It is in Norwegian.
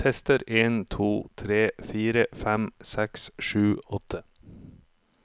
Tester en to tre fire fem seks sju åtte